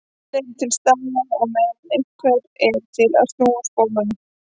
En eru til staðar á meðan einhver er til að snúa spólunum.